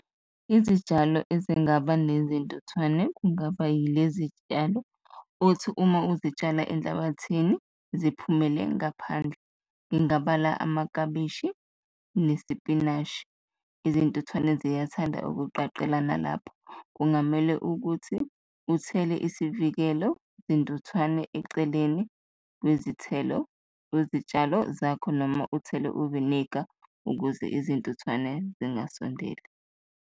Izitshalo ezingaba nezintuthwane kungaba yilezi tshalo othi uma uzitshala enhlabathini ziphumele ngaphandle, ngingabala amaklabishi nesipinashi, izintuthwane ziyathanda ukuqaqelana lapho. Kungamele ukuthi uthele isivikelo zintuthwane eceleni lwezitshalo zakho noma uthele uvinika ukuze izintuthwane zingasondeli.